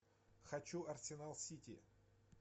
хочу арсенал сити